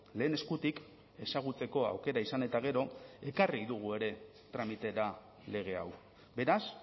lehen eskutik ezagutzeko aukera izan eta gero ekarri dugu ere tramitera lege hau beraz